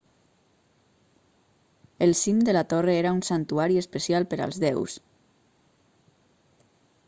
el cim de la torre era un santuari especial per als déus